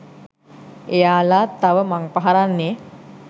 එයාල තව මංපහරන්නේ